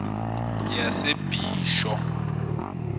yasebisho